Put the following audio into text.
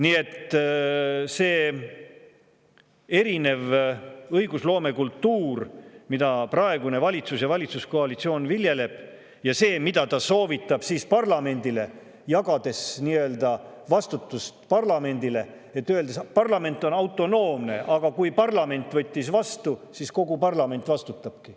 Nii et see erinev õigusloomekultuur, mida praegune valitsus ja valitsuskoalitsioon viljeleb, ja see, mida ta soovitab parlamendile, jagades nii-öelda vastutust parlamendile, öeldes, et parlament on autonoomne, et kui parlament võttis vastu, siis kogu parlament vastutabki.